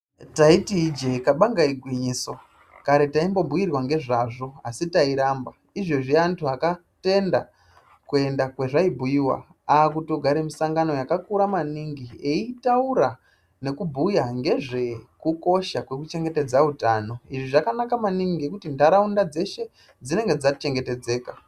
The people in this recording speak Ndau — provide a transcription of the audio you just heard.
Taiti ijee kabanga igwinyiso tai. bobhuyirwa nezvazvo asi tairamaba izvezvi vantu vakatenda kwazvaibhuyiwa ava kutogara musangano yakakura maningi eyitaura ngezve kuchengetedza utano izvi zvakanaka maningi ngekuti ndaraunda dzeshe dzinenge dzachengetedzeka.